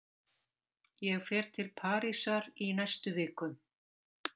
Ég fer til Parísar í næstu viku.